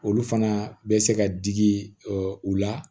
Olu fana bɛ se ka digi u la